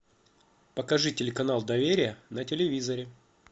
покажи телеканал доверие на телевизоре